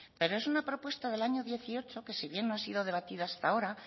pero es una propuesta del año dieciocho que si bien no ha sido debatida hasta ahora